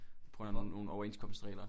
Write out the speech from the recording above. På grund af nogen nogen overenskomstregler